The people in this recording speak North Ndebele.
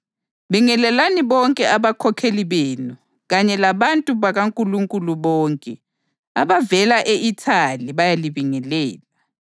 Bingelelani bonke abakhokheli benu kanye labantu bakaNkulunkulu bonke. Abavela e-Ithali bayalibingelela.